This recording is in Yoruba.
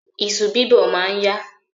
Iṣu bíbọ̀ ma ń yá.